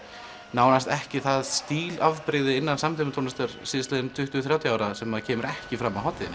nánast ekki það stílafbrigði innan samtímatónlistar síðastliðin tuttugu til þrjátíu ár sem kemur ekki fram á hátíðinni